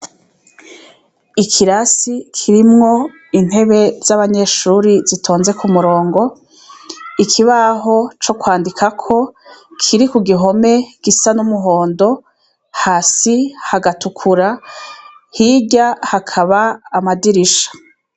Ikirasi kirimwo intebe z'abanyeshure zitonze k'umurongo, ikibaho co kwandikako kiri k'uruhome gisa n'umuhondo, hasi hagatukura, hirya hakaba amadirisha.